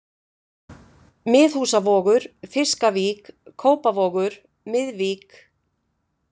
Miðhúsavogur, Fiskavík, Kópavogur, Miðvík